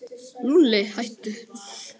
Lúlli, hættu.